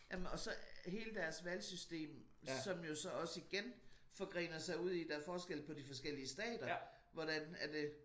Jamen og så hele deres valgsystem som jo så også igen forgrener sig ud i der er forskel på de forskellige stater hvordan at det